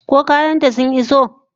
Ko kayan ta sun iso?